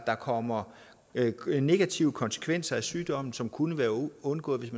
der kommer negative konsekvenser af sygdommen som kunne være undgået hvis